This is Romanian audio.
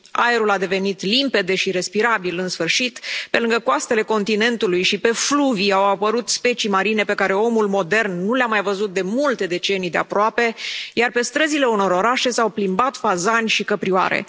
Aerul a devenit limpede și respirabil în sfârșit, pe lângă coastele continentului și pe fluvii au apărut specii marine pe care omul modern nu le a mai văzut de multe decenii de aproape, iar pe străzile unor orașe s au plimbat fazani și căprioare.